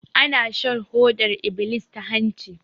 Ana shan hodar iblis ta hanci